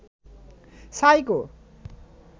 psycho